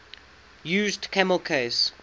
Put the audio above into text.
used camel case